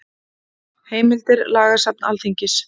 Heimildir Lagasafn Alþingis.